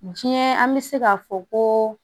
Diɲɛ an bɛ se k'a fɔ ko